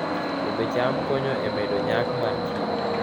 Pidho cham konyo e medo nyak mar chiemo